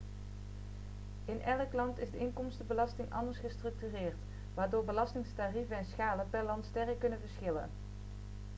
in elk land is de inkomstenbelasting anders gestructureerd waardoor belastingtarieven en schalen per land sterk kunnen verschillen